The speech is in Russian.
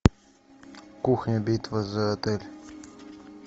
кухня битва за отель